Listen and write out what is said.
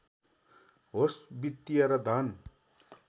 होस् वित्‍तीय र धन